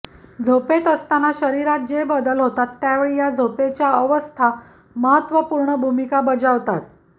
झोपेत असताना शरीरात जे बदल होतात त्यावेळी या झोपेच्या अवस्था महत्त्वपूर्ण भूमिका बजावतात